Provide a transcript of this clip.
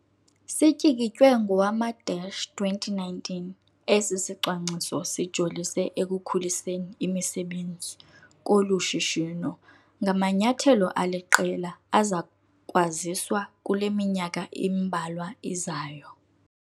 Sityikitywe ngowama-2019, esi sicwangciso sijolise ekukhuliseni imisebenzi kolu shishino ngamanyathelo aliqela azakwaziswa kule minyaka imbalwa izayo.